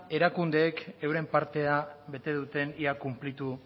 erakundeek euren partea bete duten ea konplitu